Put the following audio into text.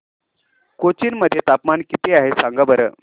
कोचीन मध्ये तापमान किती आहे सांगा बरं